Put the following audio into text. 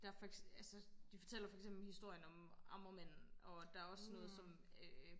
der de fortæller for eksempel historien om amagermanden og der er også sådan noget som øh